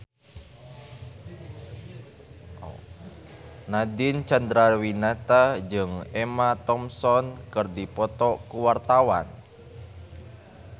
Nadine Chandrawinata jeung Emma Thompson keur dipoto ku wartawan